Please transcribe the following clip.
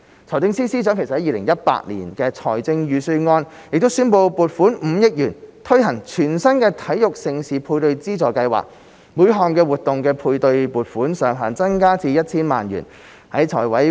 財政司司長在 2018-2019 年度財政預算案宣布撥款5億元推行全新的體育盛事配對資助計劃，每項活動的配對撥款上限增加至 1,000 萬元。